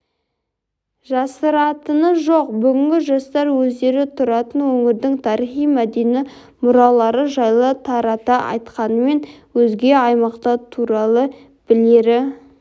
жасыратыны жоқ бүгінгі жастар өздері тұратын өңірдің тарихи-мәдени мұралары жайлы тарата айтқанымен өзге аймақтар туралы білері